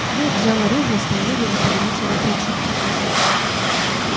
мэтт взял оружие и стал медленно поднимать его к плечу